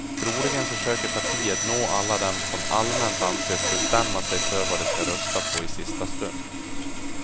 Troligen försöker partiet nå alla dem som allmänt anses bestämma sig för vad de ska rösta på i sista stund.